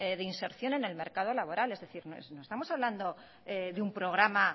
de inserción en el mercado laboral es decir no estamos hablando de un programa